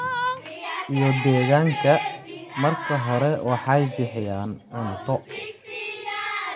iyo deegaanka. Marka hore, waxay bixiyaan cunto.